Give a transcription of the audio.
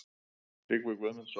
Tryggvi Guðmundsson.